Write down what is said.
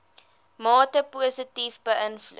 mate positief beïnvloed